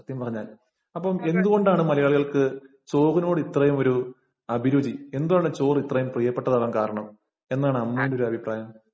സത്യം പറഞ്ഞാല്‍. അപ്പം എന്തുകൊണ്ടാണ് മലയാളികള്‍ക്ക് ചോറിനോട് ഇത്രയും ഒരു അഭിരുചി. എന്താണ് ചോറ് ഇത്രയും പ്രിയപ്പെട്ടതാകാന്‍ കാരണം? എന്താണ് അമ്മുവിന്‍റെ ഒരഭിപ്രായം?